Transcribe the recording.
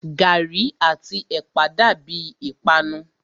Gàrí àti ẹ̀pà dàbíi ìpanu.